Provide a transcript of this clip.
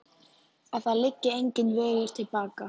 Að það liggi enginn vegur til baka.